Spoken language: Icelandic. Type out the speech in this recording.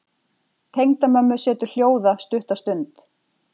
Tengdamömmu setur hljóða stutta stund.